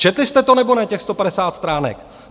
Četli jste to, nebo ne, těch 150 stránek?